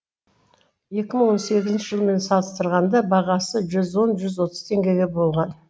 екі мың он сегізінші жылмен салыстырғанда бағасы жүз он жүз отыз теңгеге болған